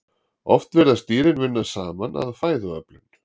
oft virðast dýrin vinna saman að fæðuöflun